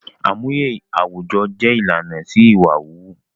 Àmúye àwùjọ jẹ ìlànà sí ìwà wíwú